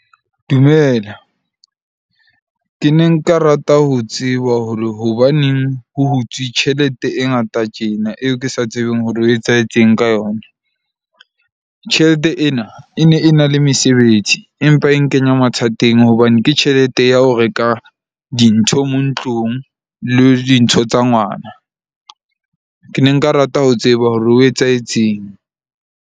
Dumela, ke ne nka rata ho tseba hore hobaneng ho hutswe tjhelete e ngata tjena, eo ke sa tsebeng hore ho etsahetseng ka yona. Tjhelete ena e e ne e na le mesebetsi, empa e nkenya mathateng hobane ke tjhelete ya ho reka dintho mo ntlong le dintho tsa ngwana. Ke ne nka rata ho tseba hore ho etsahetseng.